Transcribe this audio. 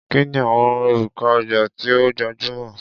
Kí ni àwọn orúkọ ọjà tí ó gbajúmọ̀?